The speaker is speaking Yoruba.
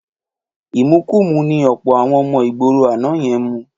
Ìmukumúmu ni ọ̀pọ̀ àwọn ọmọ ìgboro àná yẹn mu.